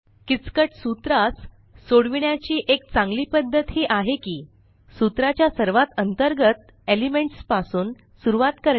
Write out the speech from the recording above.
किचकट सूत्रास सोडविण्याची एक चांगली पद्धत ही आहे की सूत्रा च्या सर्वात अंतर्गत एलिमेंट्स पासून सुरवात करणे